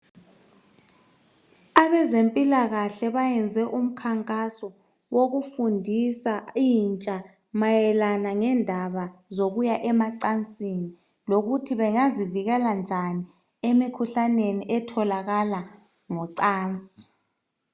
Abezempilakahle bayenze umkhankaso wokufundisa intsha mayelana ngendaba zokuya emacansini lokuthi bengazivikela njani emikhuhlaneni etholakala ngocansi.